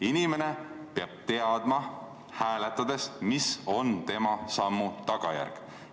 Inimene peab hääletades teadma, mis on tema sammu tagajärg.